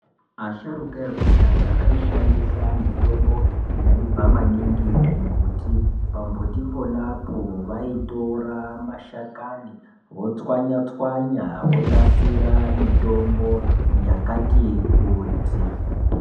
Asharuka ekudhaya aishandisa mitombo yaibva maningi kumbuti ,pambuti ponapo vaitora mashakani votswanya tswanya vonasira mitombo yakati kuti.